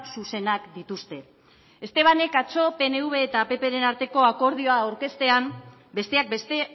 zuzenak dituzte estebanek atzo pnv eta ppren arteko akordioa aurkeztean besteak beste